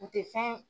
U tɛ fɛn